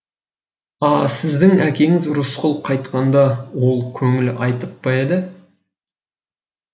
а сіздің әкеңіз рысқұл қайтқанда ол көңіл айтып па еді